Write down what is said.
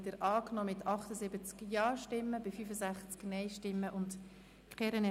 Sie haben die Planungserklärung 2 angenommen mit 78 Ja- gegen 65 Nein-Stimmen bei 0 Enthaltungen.